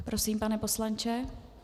Prosím, pane poslanče.